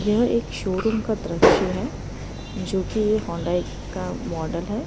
यह एक शोरूम का दृश्य है जो कि ये हुंडाई का मॉडल है।